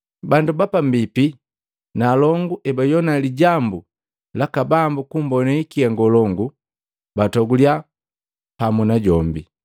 Bandu bapambipi na alongu ebajowana lijambu laka Bambu kumbone hikia ngolongu, batogulya pamu najombi.